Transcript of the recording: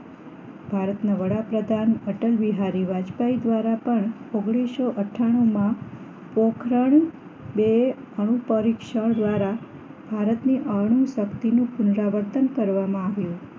ભારતના વડાપ્રધાન અટલવિહારી વાજપાઈ દ્વારા પણ ઓગણીસો અથાણું માં પોખરણ બે અણુ પરીક્ષણ દ્વારા ભારતની શક્તિ નું પુનરાવર્તન કરવામાં આવ્યું